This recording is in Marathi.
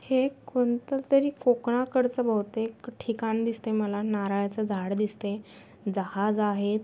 हे कोणततरी कोकणाकडचं बहुतेक ठिकाण दिसत आहे मला नारळाच झाड दिसतय जहाज आहेत.